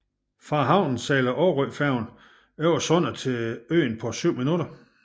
Fra havnen sejler Aarøfærgen over sundet til øen på 7 minutter